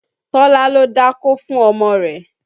Tọ́lá lọ dákó fún ọmọ rẹ̀